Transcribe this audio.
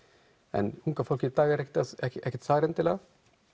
en unga fólkið í dag er ekki þar endilega